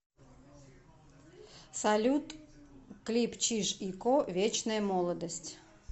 салют клип чиж и ко вечная молодость